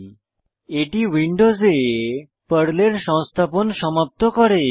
000623 000622 এটি উইন্ডোসে পর্লের সংস্থাপন সমাপ্ত করে